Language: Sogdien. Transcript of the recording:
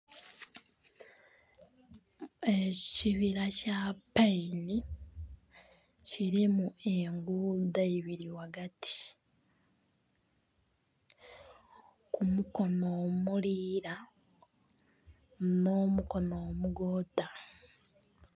Ekibira kya paini kirimu enguudo ibiri ghagati, ku mukono omuliira nh'omukono omugoodha